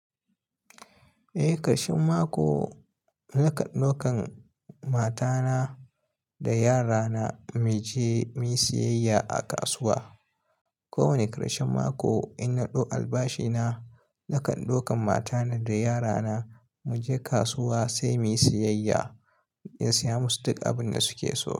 Eh, karshen mako na kan ɗaukan mata na da yara na mu je muyi siyayya a kasuwa. Ko wane karshen mako in na ɗau albashi na, na kan ɗaukan mata na da yara na mu je kasuwa sai mu yi siyayya in saya masu duk abun da su ke so.